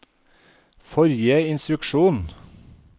forrige instruksjon